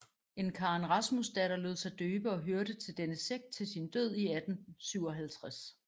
En Karen Rasmusdatter lod sig døbe og hørte til denne sekt til sin død i 1857